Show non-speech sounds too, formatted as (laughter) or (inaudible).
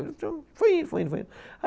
(unintelligible) Foi indo, foi indo, foi indo.